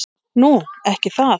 Nú. ekki það?